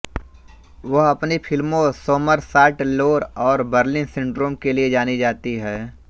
वह अपनी फिल्मों सोमरसॉल्ट लोर और बर्लिन सिंड्रोम के लिए जानी जाती हैं